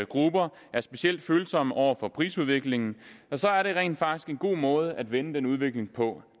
grupper er specielt følsomme over for prisudviklingen og så er det rent faktisk en god måde at vende den udvikling på